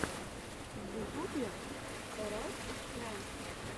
в ютубе эр эс френдс